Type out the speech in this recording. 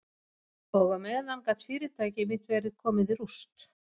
Og á meðan gat fyrirtæki mitt verið komið í rúst.